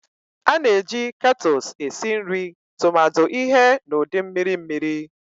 A na-eji kettles esi nri tumadi ihe n'ụdị mmiri mmiri